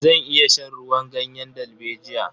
Zan iya shan ruwan ganyen dalbejiya.